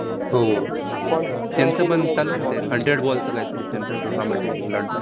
हो. त्यांचंपण चालू आहे ना ते hundred ball चं काहीतरी, त्यांचं tournament आहे इंग्लंडचा.